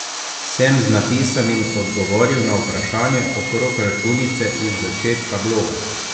Sem z napisanim odgovoril na vprašanje okrog računice iz začetka bloga?